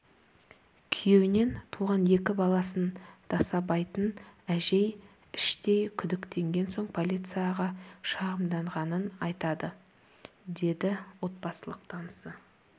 күйеуінен туған екі баласын дасабайтын әжей іштей күдіктенген соң полицияға шағымданғанын айтады деді отбасылық танысы